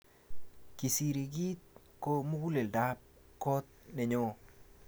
Kisikirit ko muguleldap kot nenyo